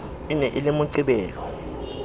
e ne e le moqebelo